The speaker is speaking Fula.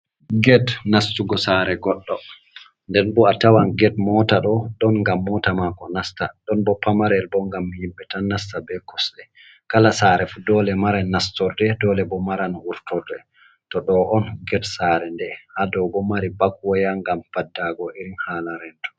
Ged nastugo sare goɗɗo. Nden bo atawan ged mota ɗo ɗon ngam mota mako nasta, ɗon bo pamarel bo ngam himɓe tan nasta be kosɗe. Kala sare fu dole mara nastorde dole bo maran wurtorde to ɗo on ged sare. Nden ha dow bo mari bak waya ngam faddago irin hala rento.